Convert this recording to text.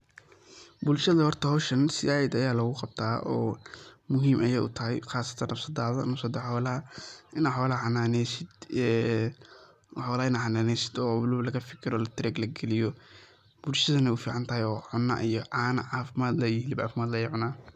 Bulshada horta howshan zaid aya logu qabtaa oo muhim ayey u tahay qasatan nafsadada , nafsada xolaha ina xolaha xananeysid oo waliba laga fikiro oo darag lagaliyo bulshadana wey u fican tahay oo cuna iyo cana cafimaad leh iyo xilib cafimaad leh ayey cunan.